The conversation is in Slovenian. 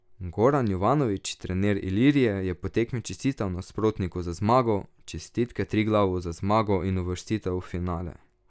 Goran Jovanovič, trener Ilirije, je po tekmi čestital nasprotniku za zmago: "Čestitke Triglavu za zmago in uvrstitev v finale.